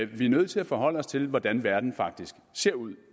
vi er nødt til at forholde os til hvordan verden faktisk ser ud